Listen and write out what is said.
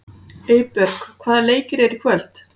Eybjörg, hvaða leikir eru í kvöld?